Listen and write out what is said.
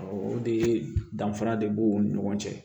O de ye danfara de b'u ni ɲɔgɔn cɛ